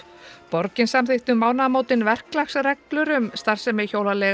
borgin samþykkti um mánaðamótin verklagsreglur um starfsemi